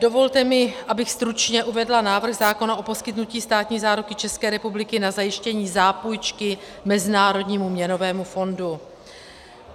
Dovolte mi, abych stručně uvedla návrh zákona o poskytnutí státní záruky České republiky na zajištění zápůjčky Mezinárodnímu měnovému fondu.